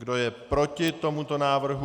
Kdo je proti tomuto návrhu?